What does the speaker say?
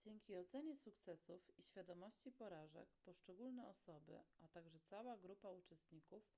dzięki ocenie sukcesów i świadomości porażek poszczególne osoby a także cała grupa uczestników